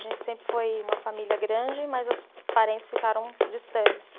A gente sempre foi uma família grande, mas os parentes ficaram distantes.